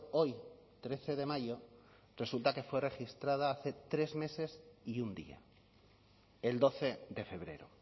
hoy trece de mayo resulta que fue registrada hace tres meses y un día el doce de febrero